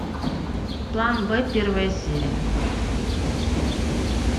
план б первая серия